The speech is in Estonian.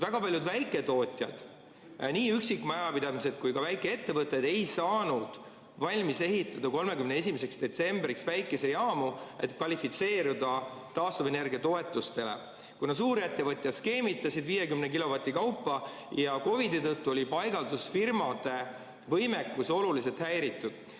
Väga paljud väiketootjad, nii üksikmajapidamised kui ka väikeettevõtted, ei saanud 31. detsembriks valmis ehitatud päikesejaamu, et kvalifitseeruda taastuvenergia toetustele, kuna suurettevõtjad skeemitasid 50 kilovati kaupa ja COVID‑i tõttu oli paigaldusfirmade võimekus oluliselt häiritud.